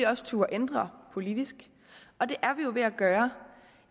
også turde ændre politisk og det er vi jo ved at gøre